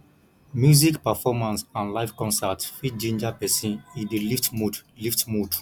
music performance and live concert fit ginger person e dey lift mood lift mood